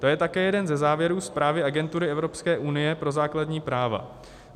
To je také jeden ze závěrů zprávy Agentury Evropské unie pro základní práva.